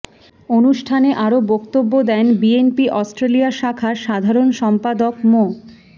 অনুষ্ঠানে আরো বক্তব্য দেন বিএনপি অস্ট্রেলিয়া শাখার সাধারণ সম্পাদক মো